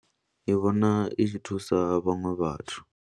Ndi vhona i tshi thusa vhaṅwe vhathu.